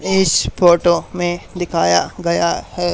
इस फोटो में दिखाया गया है--